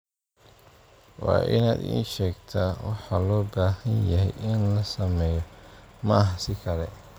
Waa inaad ii sheegtaa waxa loo baahan yahay in la sameeyo, ma aha si kale.